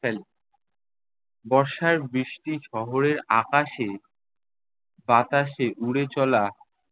ফেলে। বর্ষার বৃষ্টি শহরের আকাশে বাতাসে উড়ে চলা-